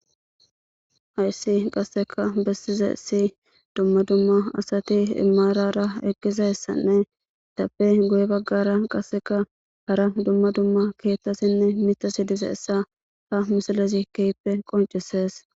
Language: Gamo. Hayissi qasekka bessizaysi dumma dumma gadey marara eqidayssanne izappe guye baggara keththati dizayissa besses